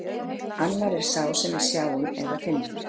Annar er sá sem við sjáum eða finnum.